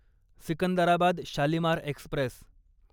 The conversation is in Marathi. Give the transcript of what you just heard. सिकंदराबाद शालिमार एक्स्प्रेस